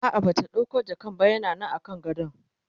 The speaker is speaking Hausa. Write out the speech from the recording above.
a'a Bata ɗauko jakan ba yana Nan kan gadon